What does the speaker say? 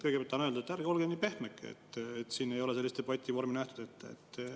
Kõigepealt tahan öelda, et ärge olge nii pehmeke, et siin ei ole sellist debativormi ette nähtud.